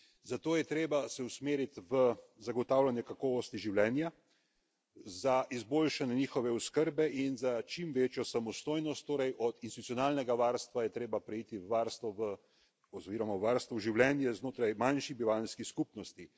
Zato je treba se usmeriti v zagotavljanje kakovosti življenja, za izboljšanje njihove oskrbe in za čim večjo samostojnost, torej od institucionalnega varstva je torej treba preiti v varstvo oziroma v življenje znotraj manjših bivanjskih skupnosti.